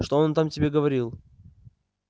что он там тебе говорил